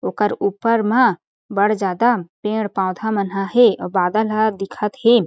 ओकर ऊपर म बड़ ज़्यादा पेड़-पौधा मनहा हें अउ बादल ह दिखत हें।